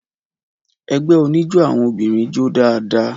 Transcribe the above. Ẹgbẹ́ oníjó àwọn obìnrin jó dáadáa.